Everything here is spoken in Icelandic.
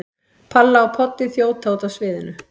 Palla og Poddi þjóta út af sviðinu.